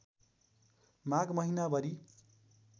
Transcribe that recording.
माघ महिनाभरि